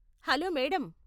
Hello madam.